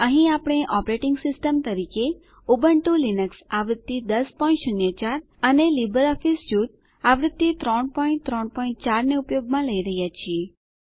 અહીં આપણે operating system તરીકે ઉબુંટૂ લિનક્સ આવૃત્તિ 1004 અને લીબરઓફીસ સ્યુટ આવૃત્તિ 334 ને ઉપયોગમાં લઇ રહ્યાં છીએ